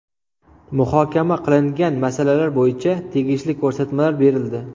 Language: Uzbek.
Muhokama qilingan masalalar bo‘yicha tegishli ko‘rsatmalar berildi.